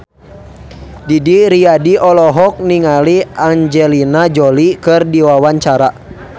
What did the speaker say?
Didi Riyadi olohok ningali Angelina Jolie keur diwawancara